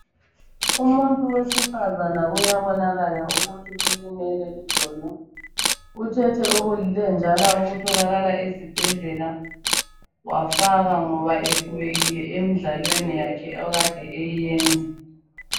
Umuntu wesifazana uyabonakala ukuthi ulimele idolo. Uthethe okulilenjana okutholakala ezibhedlela wafaka ngoba ekhubekile emidlalweni yakhe ekade eyiyenza